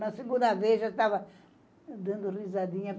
Na segunda vez já estava dando risadinha.